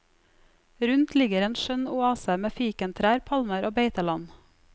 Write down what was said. Rundt ligger en skjønn oase med fikentrær, palmer og beiteland.